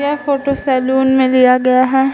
यह photo saloon में लिया गया है |